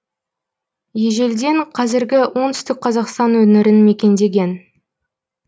ежелден қазіргі оңтүстік қазақстан өңірін мекендеген